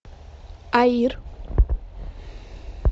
аир